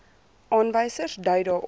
aanwysers dui daarop